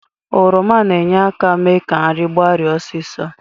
Oroma na-enye aka mee ka nri gbarie osịso.